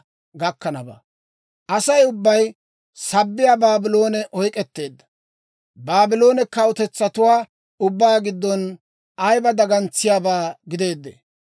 «Asay ubbay sabbiyaa Baabloone oyk'k'etteedda! Baabloone kawutetsatuwaa ubbaa giddon ayiba dagantsiyaabaa gideedee!